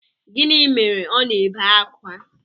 Gịnị mere ọ na-ebe akwa?